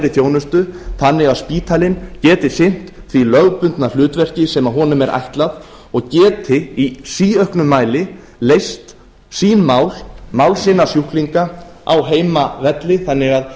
þjónustu þannig að spítalinn geti sinnt því lögbundna hlutverki sem honum er ætlað og geti í síauknum mæli leyst sín mál mál sinna sjúklinga á heimavelli þannig að